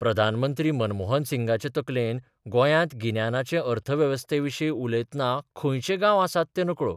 प्रधानमंत्री मनमोहन सिंगाचे तकलेंत गोंयांत गिन्यानाचे अर्थवेवस्थेविशीं उलयतना खंयचे गांव आसात तें नकळों.